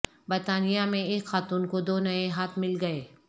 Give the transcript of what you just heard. برطانیہ میں ایک خاتون کو دو نئے ہاتھ مل گئے